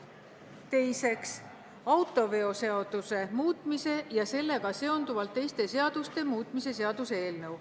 Teiseks, autoveoseaduse muutmise ja sellega seonduvalt teiste seaduste muutmise seaduse eelnõu.